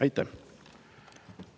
Aitäh!